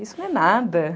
Isso não é nada.